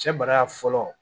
Cɛ bala fɔlɔ